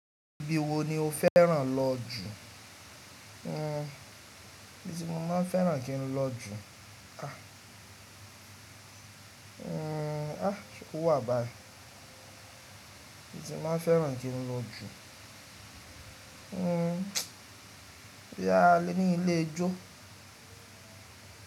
Ibi wo ni o fẹ́ràn lọ jù? Ibi tí mo máa ń fẹ́ràn kí n lọ jù. Ó wà báyìí. Ibi tí n máa ń fẹ́ràn kí n lọ jù. Boya ni ilé ijó.